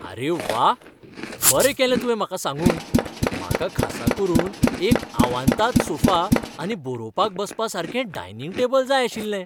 अरे व्वा, बरें केलें तुवें म्हाका सांगून! म्हाका खासा करून एक आवांताद सोफा आनी बरोवपाक बसपासारकें डायनिंग टेबल जाय आशिल्लें.